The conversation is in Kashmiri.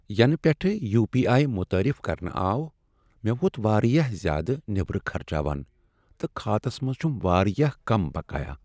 ینہٕ پیٹھہٕ یو پی آٮٔی متعارف کرنہٕ آو ،مے٘ ووت وارِیاہ زیادٕ نیبرٕ خرچاوان تہٕ کھاتس منز چھٗم وارِیاہ كم بقایا ۔ٔ